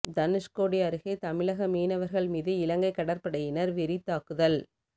தனுஷ்கோடி அருகே தமிழக மீனவர்கள் மீது இலங்கை கடற்படையினர் வெறித் தாக்குதல்